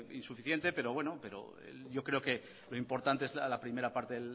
insuficiente pero yo creo que lo importante es la primera parte